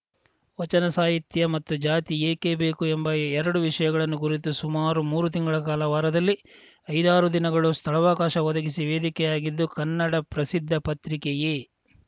ವಚನ ಸಾಹಿತ್ಯ ಮತ್ತು ಜಾತಿ ಏಕೆ ಬೇಕು ಎಂಬ ಎರಡು ವಿಷಯಗಳನ್ನು ಕುರಿತು ಸುಮಾರು ಮೂರು ತಿಂಗಳ ಕಾಲ ವಾರದಲ್ಲಿ ಐದಾರು ದಿನಗಳು ಸ್ಥಳಾವಕಾಶ ಒದಗಿಸಿ ವೇದಿಕೆಯಾಗಿದ್ದೂ ಕನ್ನಡ ಪ್ರಸಿದ್ಧ ಪತ್ರಿಕೆಯೇ